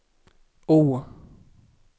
O